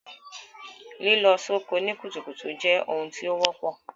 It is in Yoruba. Lílọ soko ni kùtùkùtù je oun tí o wọ́pọ̀